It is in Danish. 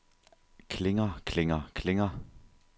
klinger klinger klinger